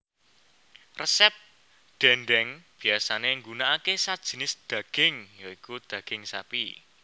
Resep dhèndhèng biyasané nggunakake sajinis dhaging ya iku dhaging sapi